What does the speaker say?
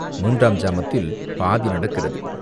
மூன்றாம் ஜாமத்தில் பாதி நடக்கிறது.